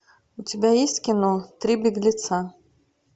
у тебя есть кино три беглеца